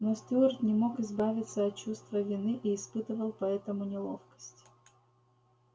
но стюарт не мог избавиться от чувства вины и испытывал поэтому неловкость